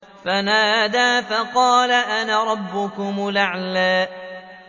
فَقَالَ أَنَا رَبُّكُمُ الْأَعْلَىٰ